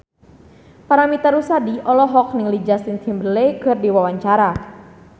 Paramitha Rusady olohok ningali Justin Timberlake keur diwawancara